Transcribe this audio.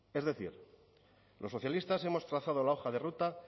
es decir los socialistas hemos trazado la hoja de ruta